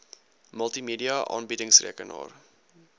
multimedia aanbiedings rekenaar